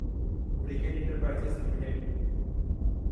brigade enterprises limited